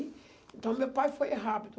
Então, meu pai foi rápido.